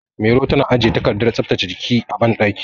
Mairo tana ajiye takardar tsaftace jiki a banɗaki.